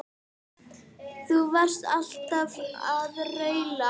Þú varst alltaf að raula.